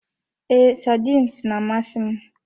Ee, sardines na-amasị m.